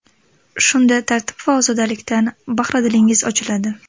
Shunda tartib va ozodalikdan bahri dilingiz ochiladi.